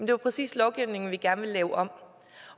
jo præcis lovgivningen vi gerne vil lave om